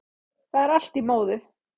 Það er allt í móðu